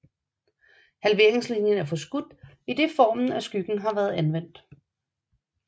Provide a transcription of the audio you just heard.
Halveringslinien er forskudt idet formen af skyggen har været anvendt